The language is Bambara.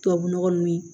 Tubabu nɔgɔ nun ye